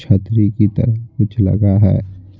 छतरी पर कुछ लगा हुआ है।